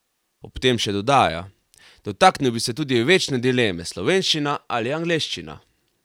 Ob tem še dodaja: "Dotaknil bi se tudi večne dileme, slovenščina ali angleščina?